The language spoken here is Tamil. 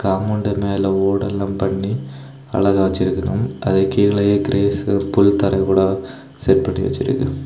காம்பவுண்டு மேல ஓடெல்லாம் பண்ணி அழகா வெச்சிருக்கனும் அதுக்கு கீழேயே கிரேஸு புல் தர போல செட் பண்ணி வெச்சிருக்கு.